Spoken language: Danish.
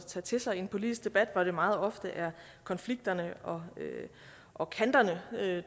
tage til sig i en politisk debat hvor det meget ofte er konflikterne og og kanterne